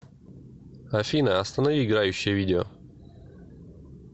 афина останови играющее видео